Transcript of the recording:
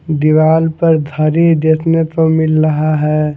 दीवाल पर घड़ी देखने को मिल रहा है।